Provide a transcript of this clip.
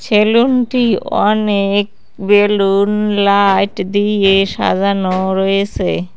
সেলুনটি অনেক balloon light দিয়ে সাজানো রয়েছে।